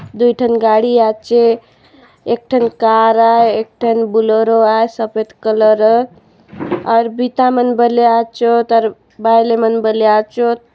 दुई ठन गाड़ी आछे एक ठन कार आए एक ठन बुलोरो आ सफेद कलर और बिता मन बलिया अछो बायले मन बलिया आचोत।